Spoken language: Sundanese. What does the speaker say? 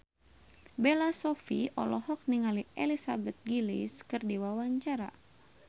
Bella Shofie olohok ningali Elizabeth Gillies keur diwawancara